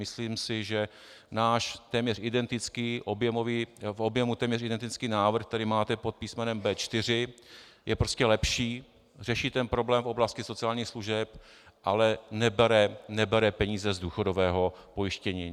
Myslím si, že náš v objemu téměř identický návrh, který máte pod písmenem B4, je prostě lepší, řeší problém v oblasti sociálních služeb, ale nebere peníze z důchodového pojištění.